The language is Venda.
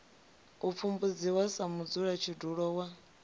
u pfumbudziwa sa mudzulatshidulo wa